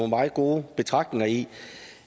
meget gode betragtninger i